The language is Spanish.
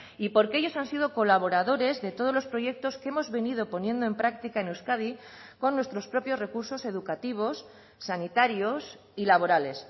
y porque ellos han sido colaboradores de todos los proyectos que hemos venido poniendo en práctica en euskadi con nuestros propios recursos educativos sanitarios y laborales